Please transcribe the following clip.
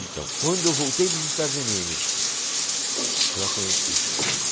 Então, quando eu voltei dos Estados Unidos, eu a conheci.